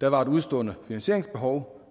der var et udestående finansieringsbehov på